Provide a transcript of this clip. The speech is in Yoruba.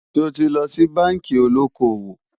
sò tí ló ṣì bánkì olókó owó?